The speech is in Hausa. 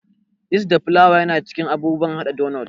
Yist da flawa yana cikin abubuwan haɗa donot.